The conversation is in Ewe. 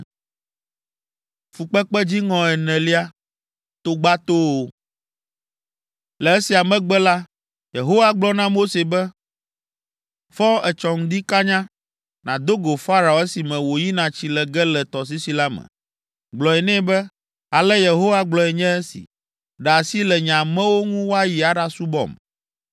Le esia megbe la, Yehowa gblɔ na Mose be, “Fɔ etsɔ ŋdi kanya, nàdo go Farao esime wòyina tsi le ge le tɔsisi la me. Gblɔ nɛ be, ‘Ale Yehowa gblɔe nye esi: ɖe asi le nye amewo ŋu woayi aɖasubɔm.